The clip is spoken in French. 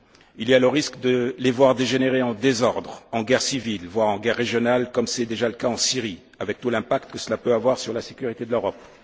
Il y a le risque de les voir dégénérer en désordres, en guerre civiles voire en guerres régionales, comme c'est déjà le cas en Syrie, avec tout l'impact que cela peut avoir sur la sécurité de l'Europe.